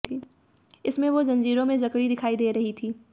इसमें वो जंजीरों में जकड़ी दिखाई दे रही थी